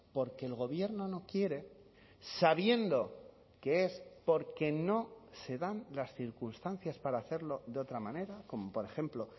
porque el gobierno no quiere sabiendo que es porque no se dan las circunstancias para hacerlo de otra manera como por ejemplo